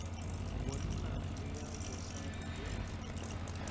bonna le ya bosadi ge